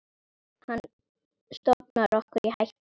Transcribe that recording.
Hann stofnar okkur í hættu.